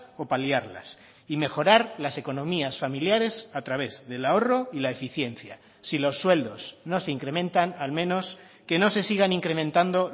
o paliarlas y mejorar las economías familiares a través del ahorro y la eficiencia si los sueldos no se incrementan al menos que no se sigan incrementando